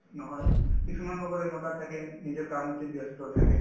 নহয়, কিছুমান লগৰ এনেকুৱা থাকে নিজৰ কামতে ব্যস্ত থাকে